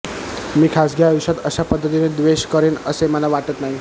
मी खासगी आयुष्यात अशापद्धतीने द्वेष करेन असे मला वाटत नाही